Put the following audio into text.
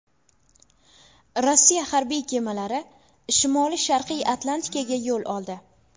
Rossiya harbiy kemalari Shimoli-sharqiy Atlantikaga yo‘l oldi.